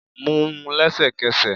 mú un lẹsẹkẹsẹ